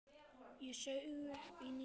Ég saug upp í nefið.